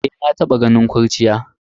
Eh, na taba ganin kurciya.